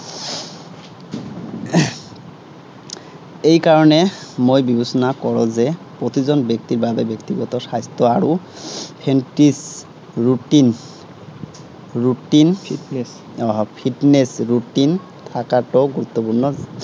এই কাৰনে মই বিবেচনা কৰো যে প্ৰতিজন ব্যক্তিৰ বাবে ব্যক্তিগত routine আহ fitness routine থাকাটো গুৰুত্বপূৰ্ণ।